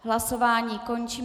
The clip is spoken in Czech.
Hlasování končím.